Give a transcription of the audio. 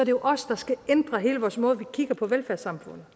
jo os der skal ændre hele vores måde vi kigger på velfærdssamfundet